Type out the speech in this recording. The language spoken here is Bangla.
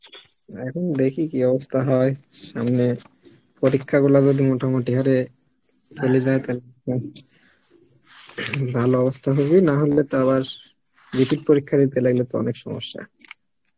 এখন দেখি কি অবস্থা হয় সামনে পরীক্ষা গুলো তো মোটামুটি হারে ভালো অবস্থা হবে নাহলে তো আবার repeat পরীক্ষা দিতে লাগলে তো আবার অনেক সমস্যা